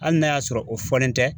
Ali n'a y'a sɔrɔ o fɔlen tɛ